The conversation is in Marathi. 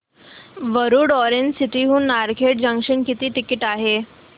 वरुड ऑरेंज सिटी हून नारखेड जंक्शन किती टिकिट आहे